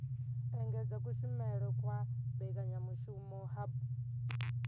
engedza kushumele kwa mbekanyamushumo hub